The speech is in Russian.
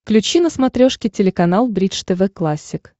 включи на смотрешке телеканал бридж тв классик